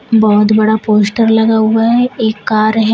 बहोत बड़ा पोस्टर लगा हुआ है एक कार है।